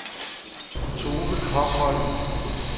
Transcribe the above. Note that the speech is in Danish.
Toke Kokholm